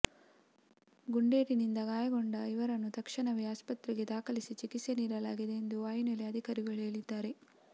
ಗುಂಡೇಟಿನಿಂದ ಗಾಯಗೊಂಡ ಇವರನ್ನು ತಕ್ಷಣವೇ ಆಸ್ಪತ್ರೆಗೆ ದಾಖಲಿಸಿ ಚಿಕಿತ್ಸೆ ನೀಡಲಾಗಿದೆ ಎಂದು ವಾಯುನೆಲೆ ಅಧಿಕಾರಿಗಳು ಹೇಳಿದ್ದಾರೆ